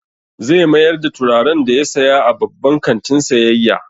Zai mayar da turaren da ya saya a babban kantin sayayya.